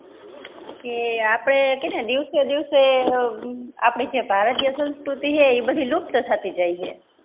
કે આપડે કેને દીવસે દીવસે અ આપડે જે ભારતીય સંસ્કૃતિ હે એ બધી લુપ્ત થતી જાય હે